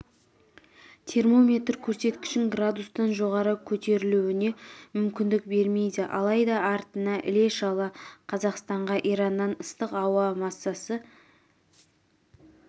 термометр көрсеткішін градустан жоғары көтерілуіне мүмкіндік бермейді алайда артынан іле-шала қазақстанға ираннан ыстық ауа массасы